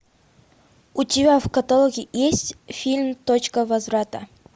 у тебя в каталоге есть фильм точка возврата